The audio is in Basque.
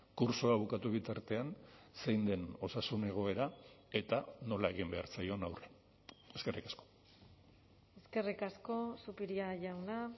kurtsoa bukatu bitartean zein den osasun egoera eta nola egin behar zaion aurre eskerrik asko eskerrik asko zupiria jauna